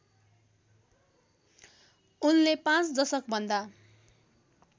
उनले पाँच दशकभन्दा